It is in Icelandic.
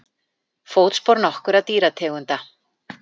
Fótspor nokkurra dýrategunda.